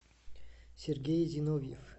сергей зиновьев